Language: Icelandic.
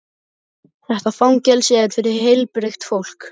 Þetta fangelsi er fyrir heilbrigt fólk.